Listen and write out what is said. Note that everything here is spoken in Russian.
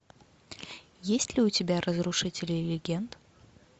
есть ли у тебя разрушители легенд